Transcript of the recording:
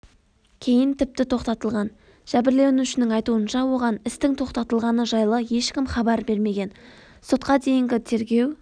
кейін тіпті тоқтатылған жәбірленушінің айтуынша оған істің тоқтатылғаны жайлы ешкім хабар бермеген сотқа дейінгі тергеу